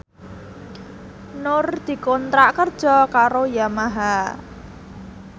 Nur dikontrak kerja karo Yamaha